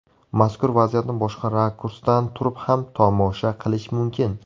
Mazkur vaziyatni boshqa rakursdan turib ham tomosha qilish mumkin.